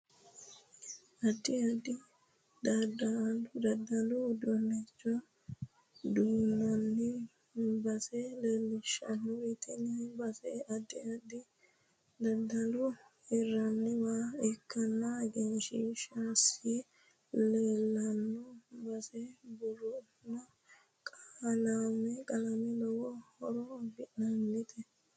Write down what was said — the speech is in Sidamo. Addi addi daddalu uduunichi duunamino base leelishanori tini base addi addi daddali heeranowa ikkasi egensiisanno isi leelanno base buurooni qalame lowo hor afidhinote